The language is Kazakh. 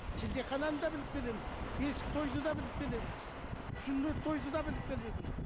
шілдехананы да біліп келеміз бесік тойды да біліп келеміз сүндет тойды да біліп келе жатырмыз